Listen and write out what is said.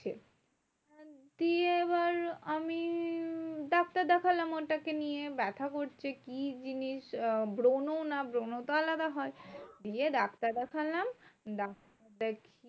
দিয়ে এবার আমি ডাক্তার দেখলাম ওটাকে নিয়ে ব্যাথা করছে। কি জিনিস? আহ ব্রণ না ব্রণ তো আলাদা হয়। দিয়ে ডাক্তার দেখালাম